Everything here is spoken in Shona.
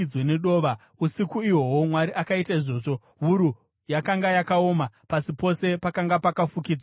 Usiku ihwohwo Mwari akaita izvozvo. Wuru yakanga yakaoma; pasi pose pakanga pakafukidzwa nedova.